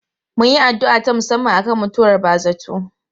Mun yi addu'a ta musamman akan mutuwar ba zarto.